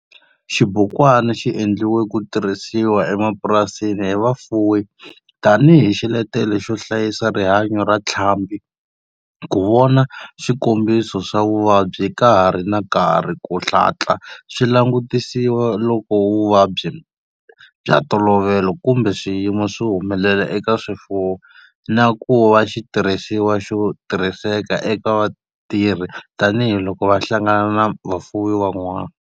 Xibukwana xi endliwe ku tirhisiwa emapurasini hi vafuwi tani hi xiletelo xo hlayisa rihanyo ra ntlhambhi, ku vona swikombiso swa vuvabyi ka ha ri na nkarhi ku hatla swi langutisiwa loko vuvabyi bya ntolovelo kumbe swiyimo swi humelela eka swifuwo, na ku va xitirhisiwa xo tirhiseka eka vatirhi tani hi loko va hlangana na vafuwi van'wana.